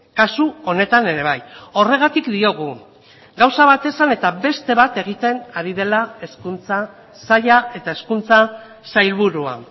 kasu honetan ere bai horregatik diogu gauza bat esan eta beste bat egiten ari dela hezkuntza saila eta hezkuntza sailburua